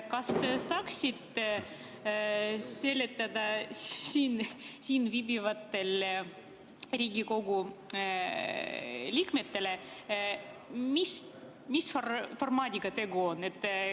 Kas te saaksite selgitada siin viibivatele Riigikogu liikmetele, mis formaadiga tegu on?